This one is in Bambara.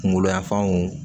Kunkolo yanfanw